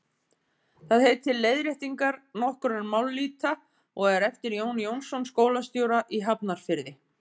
það heitir leiðréttingar nokkurra mállýta og er eftir jón jónasson skólastjóra í hafnarfirði